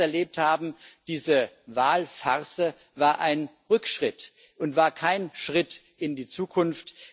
11. März erlebt haben, diese Wahlfarce, war ein Rückschritt und war kein Schritt in die Zukunft.